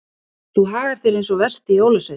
Þú hagar þér eins og versti jólasveinn.